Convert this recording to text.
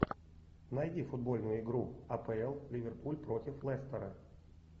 найди футбольную игру апл ливерпуль против лестера